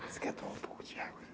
Você quer tomar um pouco de água?